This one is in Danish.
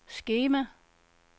skema